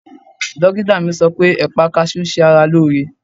Dókítà mi sọ pé ẹ̀pà kaṣú ń ṣe ara lóore.